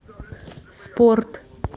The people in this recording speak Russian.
спорт